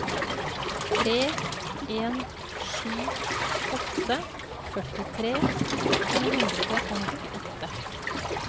tre en sju åtte førtitre to hundre og nittiåtte